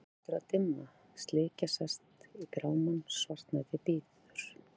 Bráðum hlýtur að dimma, slikja sest í grámann, svartnættið bíður.